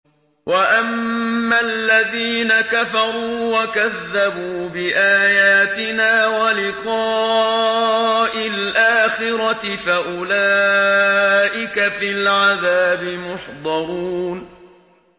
وَأَمَّا الَّذِينَ كَفَرُوا وَكَذَّبُوا بِآيَاتِنَا وَلِقَاءِ الْآخِرَةِ فَأُولَٰئِكَ فِي الْعَذَابِ مُحْضَرُونَ